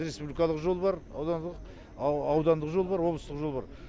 республикалық жол бар аудандық жол бар облыстық жол бар